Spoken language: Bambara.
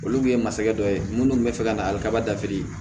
Olu kun ye masakɛ dɔ ye minnu tun bɛ fɛ ka na ali kaba dafi